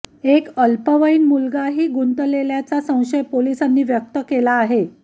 एक अल्पवयीन मुलगांही गुंतलेल्याचा संशय पोलिसांनी व्यक्त केला आहे